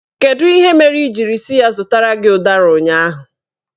Kedu ihe mere ị jiri sị ya zụtara gị ụdara ụnyaahụ?